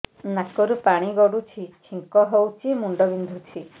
ନାକରୁ ପାଣି ଗଡୁଛି ଛିଙ୍କ ହଉଚି ମୁଣ୍ଡ ବିନ୍ଧୁଛି